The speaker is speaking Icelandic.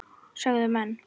sögðu menn.